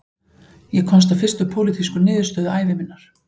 Ég komst að fyrstu pólitísku niðurstöðu ævi minnar